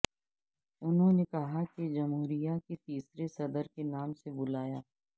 انہوں نے کہا کہ جمہوریہ کے تیسرے صدر کے نام سے بلایا